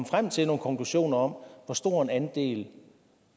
frem til nogle konklusioner om hvor stor en andel